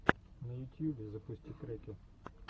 на ютьюбе запусти треки